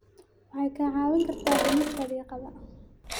waxaad kaa caawin kartaa dhimista diiqada.